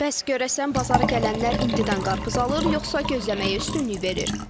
Bəs görəsən bazara gələnlər indidən qarpız alır, yoxsa gözləməyə üstünlük verir?